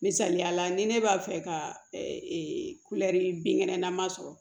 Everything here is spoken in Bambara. Misaliyala ni ne b'a fɛ ka kulɛri binkɛnɛ na ma sɔrɔ